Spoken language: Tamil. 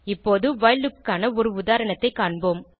இப்போது வைல் லூப் க்கான ஒரு உதாரணத்தைக் காண்போம்